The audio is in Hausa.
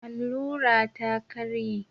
Allura ta ƙarye